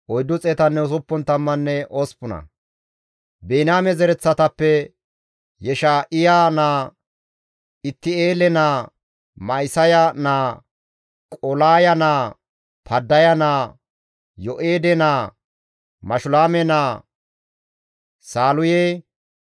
Biniyaame zereththatappe, Yesha7iya naa, Itti7eele naa, Ma7isaya naa, Qolaaya naa, Paddaya naa, Yo7eede naa, Mashulaame naa, Saaluye,